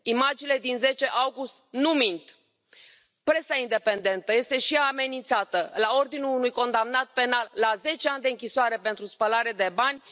Imaginile din 10 august nu mint. Presa independentă este și ea amenințată la ordinul unui condamnat penal la zece ani de închisoare pentru spălare de bani.